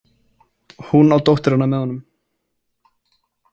Hún á dótturina með honum.